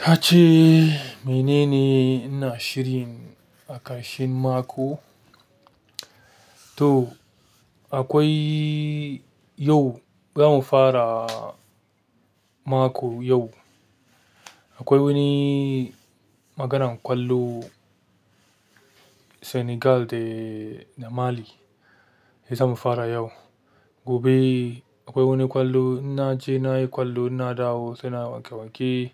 Ka ce mene ne ina shirin, a ƙarshen mako? To akwai yau zamu fara mako yau. Akwai wani maganan ƙwallo Senegal da Marli zamu fara yau. Gobe akwai wani ƙwallo ina je nayi ƙwallo ina dawo sai na wanke-wanke,